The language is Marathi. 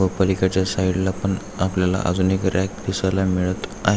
व पलीकडच्या साइड ला पण आपल्याला एक रॅक दिसायला मिळत आहे.